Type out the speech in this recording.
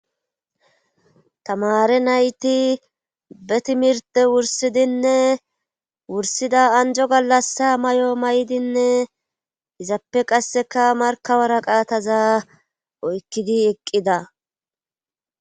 Tamaare nayti be timirte wursidinne wursida anjo gallassa may'o may'dinne izappe qassekka waraqataza oykkidi eqqida